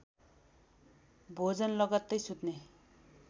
भोजन लगत्तै सुत्ने